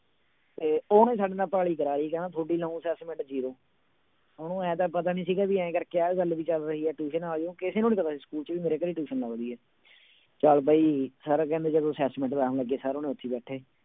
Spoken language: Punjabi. ਤੇ ਉਹਨੇ ਸਾਡੇ ਨਾਲ ਕਰਾ ਲਈ ਕਹਿੰਦਾ ਤੁਹਾਡੀ ਲਾਊਂ assessment zero ਉਹਨੂੰ ਇਉਂ ਤਾਂ ਪਤਾ ਨੀ ਸੀਗਾ ਵੀ ਇਉਂ ਕਰਕੇ ਆਹ ਗੱਲ ਵੀ ਚੱਲ ਰਹੀ ਆ tuition ਆ ਜਾਓ ਕਿਸੇ ਨੂੰ ਨੀ ਪਤਾ ਸੀ ਸਕੂਲ ਚ ਵੀ ਮੇਰੇ ਘਰੇ tuition ਲੱਗਦੀ ਹੈ, ਚੱਲ ਬਈ ਸਰ ਕਹਿੰਦੇ ਜਦੋਂ assessment ਲਾਉਣ ਲੱਗੇ ਸਰ ਹੋਣੀ ਉੱਥੇ ਬੈਠੇ।